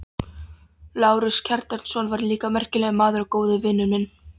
Lárus Kjartansson var líka merkilegur maður og góður vinur minn.